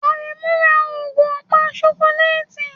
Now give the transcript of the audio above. Aremu ra ogún ọ̀pá ṣokoléètì